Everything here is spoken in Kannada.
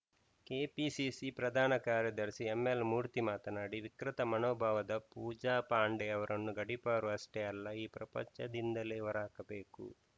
ಕೆಪಿಸಿಸಿ ಪ್ರಧಾನ ಕಾರ್ಯದರ್ಶಿ ಎಂಎಲ್‌ ಮೂರ್ತಿ ಮಾತನಾಡಿ ವಿಕೃತ ಮನೋಭಾವದ ಪೂಜಾ ಪಾಂಡೆ ಅವರನ್ನು ಗಡಿಪಾರು ಅಷ್ಟೇ ಅಲ್ಲ ಈ ಪ್ರಪಂಚದಿಂದಲೇ ಹೊರಹಾಕಬೇಕು